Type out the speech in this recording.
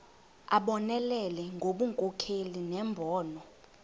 abonelele ngobunkokheli nembono